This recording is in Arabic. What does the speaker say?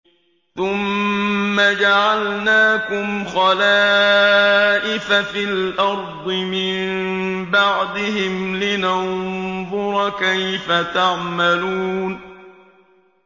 ثُمَّ جَعَلْنَاكُمْ خَلَائِفَ فِي الْأَرْضِ مِن بَعْدِهِمْ لِنَنظُرَ كَيْفَ تَعْمَلُونَ